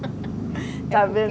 está vendo?